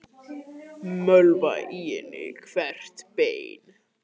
Mölva í henni hvert bein.